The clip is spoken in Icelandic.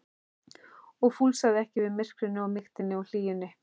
og fúlsaði ekki við myrkrinu og mýktinni og hlýjunni.